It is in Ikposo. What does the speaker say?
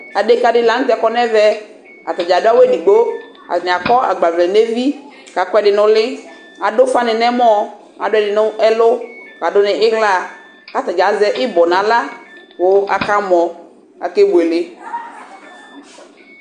Adekadɩ lakɔ kʊ ɛvɛ atadza adʊ awʊ edigbo atanɩ akɔ agbavle nʊ evi kʊ akɔ ɛdɩ nʊ ʊlɩ adʊ ʊfanɩ kʊ ɛmɔ adʊ ɛdɩnɩ nʊ ɛlʊ kʊ adʊ nʊ iɣla kʊ atadza azɛ ɩbɔ kʊ aɣla kʊ akamɔ kʊ akebueke